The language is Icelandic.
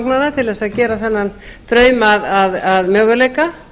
til þess að gera þennan draum að möguleika